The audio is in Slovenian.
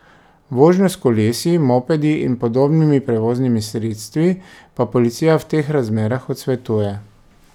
Vožnjo s kolesi, mopedi in podobnimi prevoznimi sredstvi pa policija v teh razmerah odsvetuje.